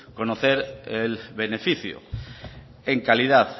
conocer el beneficio en calidad